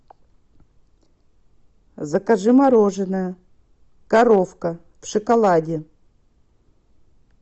закажи мороженое коровка в шоколаде